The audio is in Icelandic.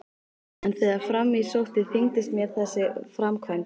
En þegar fram í sótti þyngdist mér þessi framkvæmd.